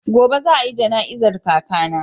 Gobe za a yi jana'izar kakana.